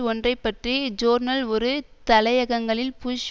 ஒன்றைப்பற்றி journal ஒரு தலையகங்கலில் push